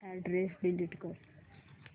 address delete कर